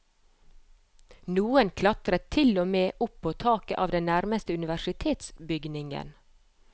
Noen klatret til og med opp på taket av den nærmeste universitetsbygningen.